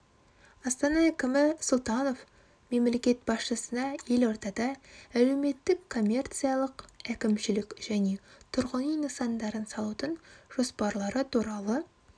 астана әкімі сұлтанов мемлекет басшысына елордада әлеуметтік коммерциялық әкімшілік және тұрғын үй нысандарын салудың жоспарлары туралы